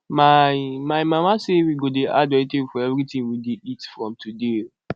my my mama say we go dey add vegetable for everything we dey eat from today